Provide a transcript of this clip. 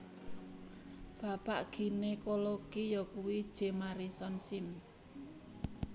Bapak ginekologi yakuwi J Marion Sims